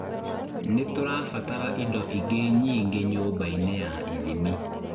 Nĩtũrabatara indo ingĩ nyingĩ nyũmba-inĩ ya ithimi